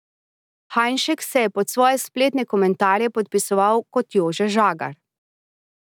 Hajnšek se je pod svoje spletne komentarje podpisoval kot Jože Žagar.